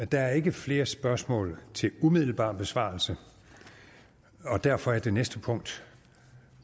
der er ikke flere spørgsmål til umiddelbar besvarelse og derfor er det næste punkt